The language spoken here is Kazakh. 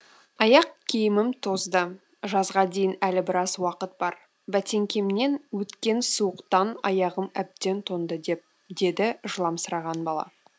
аяқ киімім тозды жазға дейін әлі біраз уақыт бар бәтеңкемнен өткен суықтан аяғым әбден тоңды деді жыламсыраған бала